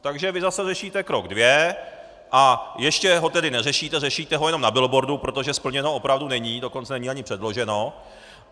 Takže vy zase řešíte krok dvě, a ještě ho tedy neřešíte, řešíte ho jenom na billboardu, protože splněno opravdu není, dokonce není ani předloženo.